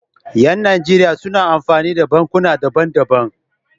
Yan nigeria suna amfani da bankuna daban daban